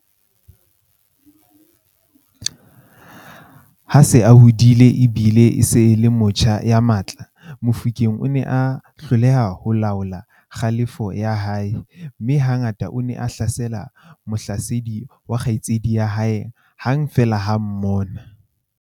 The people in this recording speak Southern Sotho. Ha a se a hodile e bile e se e le motjha ya matla, Mofokeng o ne a hloleha ho laola kgalefo ya hae, mme ha ngata o ne a hlasela mohlasedi wa kgaitsedi ya hae hang feela ha a mmona.